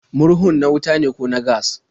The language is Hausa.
Murhun na wuta ne ko na gas?